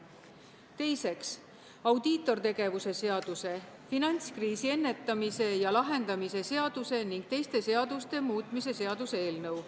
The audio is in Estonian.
Teiseks, audiitortegevuse seaduse, finantskriisi ennetamise ja lahendamise seaduse ning teiste seaduste muutmise seaduse eelnõu.